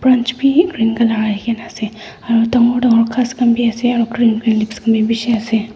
bi green colour aikaena ase aro dangor dangor ghas khan bi ase aro green green leps khan bi bishi ase.